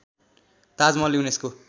Taj Mahal UNESCO